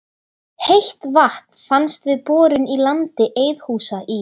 Heitt vatn fannst við borun í landi Eiðhúsa í